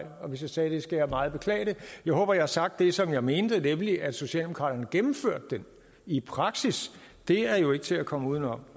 og hvis jeg sagde det skal jeg meget beklage det jeg håber jeg har sagt det som jeg mente nemlig at socialdemokraterne gennemførte den i praksis det er jo ikke til at komme uden om